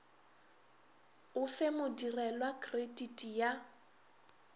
o fe modirelwa krediti ya